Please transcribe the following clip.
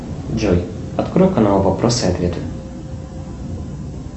джой открой канал вопросы и ответы